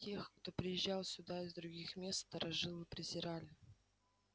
тех кто приезжал сюда из других мест старожилы презирали